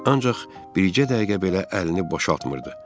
Ancaq bircə dəqiqə belə əlini boşaltmırdı.